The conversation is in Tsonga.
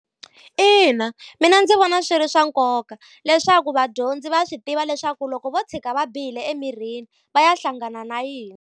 Ina mina ndzi vona swi ri swa nkoka, leswaku vadyondzi va swi tiva leswaku loko vo tshika va bihile emirini va ya hlangana na yini.